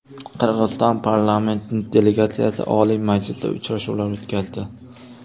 Qirg‘iziston parlament delegatsiyasi Oliy Majlisda uchrashuvlar o‘tkazdi.